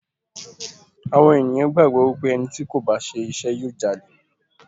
Àwọn ènìyàn gbàgbọ́ wípé ẹni tí kò bá ṣe iṣẹ́ yóò Jalè.